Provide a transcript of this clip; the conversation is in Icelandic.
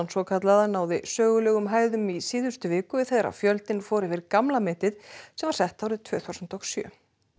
svokallaða náði sögulegum hæðum í síðustu viku þegar fjöldinn fór yfir gamla metið sem var sett árið tvö þúsund og sjö